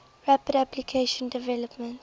rapid application development